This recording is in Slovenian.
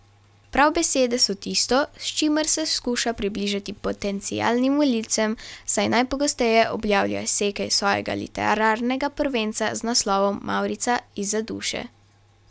Prav besede so tisto, s čimer se skuša približati potencialnim volilcem, saj najpogosteje objavlja izseke iz svojega literarnega prvenca z naslovom Mavrica izza duše.